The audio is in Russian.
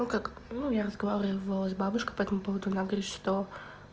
ну как ну я разговаривала с бабушкой по этому поводу она говорит что